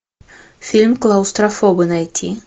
фильм клаустрофобы найти